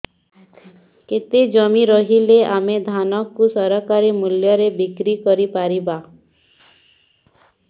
କେତେ ଜମି ରହିଲେ ଆମେ ଧାନ କୁ ସରକାରୀ ମୂଲ୍ଯରେ ବିକ୍ରି କରିପାରିବା